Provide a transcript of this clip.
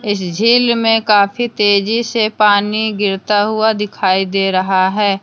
इस झील में काफी तेजी से पानी गिरता हुआ दिखाई दे रहा है।